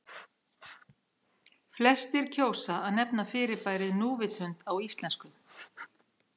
Flestir kjósa að nefna fyrirbærið núvitund á íslensku.